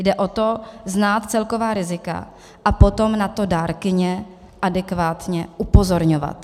Jde o to znát celková rizika a potom na to dárkyně adekvátně upozorňovat.